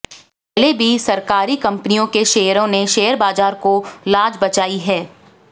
पहले भी सरकारी कंपनियों के शेयरों ने शेयर बाजार को लाज बचाई है